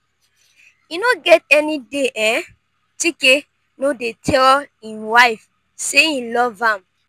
e no get any day um chike no dey tell im wife say e love am